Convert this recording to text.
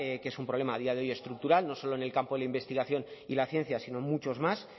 que es un problema a día de hoy estructural no solo en el campo de la investigación y la ciencia sino en muchos más